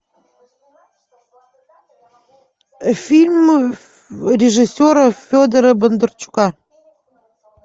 фильм режиссера федора бондарчука